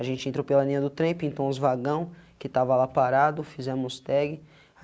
A gente entrou pela linha do trem, pintou uns vagão, que estava lá parado, fizemos tag.